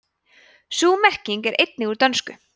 sú merking er einnig úr dönsku